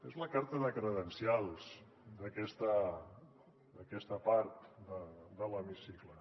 és la carta de credencials d’aquesta part de l’hemicicle